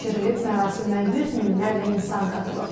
Mərasimə yüz minlərlə insan qatılıb.